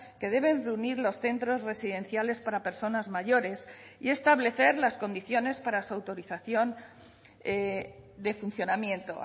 que deben reunir los centros residenciales para personas mayores y establecer las condiciones para su autorización de funcionamiento